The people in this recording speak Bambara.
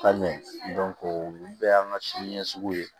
Ka mɛn olu bɛɛ y'an ka siniɲɛsigi ye